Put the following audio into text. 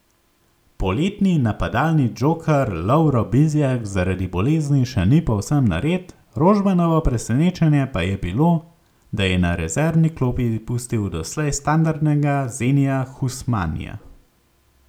Poletni napadalni džoker Lovro Bizjak zaradi bolezni še ni povsem nared, Rožmanovo presenečenje pa je bilo, da je na rezervni klopi pustil doslej standardnega Zenija Husmanija.